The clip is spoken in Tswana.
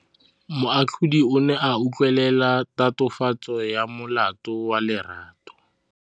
Moatlhodi o ne a utlwelela tatofatsô ya molato wa Lerato.